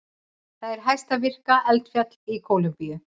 Það er hæsta virka eldfjall í Kólumbíu.